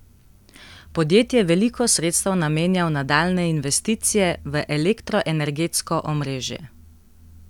Podjetje veliko sredstev namenja v nadaljnje investicije v elektroenergetsko omrežje.